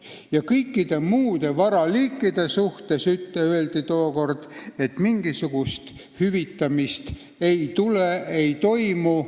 Kõikide muude varaliikide kohta otsustati tookord, et mingisugust hüvitamist ei toimu.